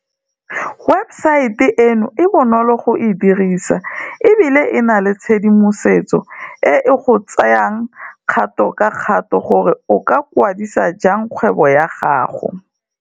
Webesaete eno e bonolo go e dirisa e bile e na le tshedimosetso e e go tseyang kgato ka kgato gore o ka kwa disa jang kgwebo ya gago.